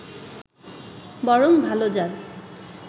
বরং ভালো-জাত